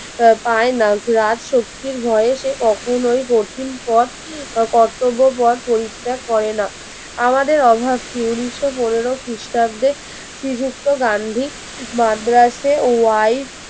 আহ পাই না রাজশক্তির ভয়ে সে কখনোই কঠিন পদ কর্তব্য পদ পরীক্ষা পরিত্যাগ করে না আমাদের অভাব কি উনিশশো পনেরো খ্রিস্টাব্দে শ্রীযুক্ত গান্ধীর মাদ্রাসে ওয়াই